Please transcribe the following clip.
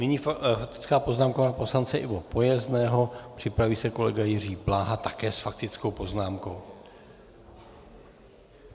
Nyní faktická poznámka pana poslance Ivo Pojezného, připraví se kolega Jiří Bláha, také s faktickou poznámkou.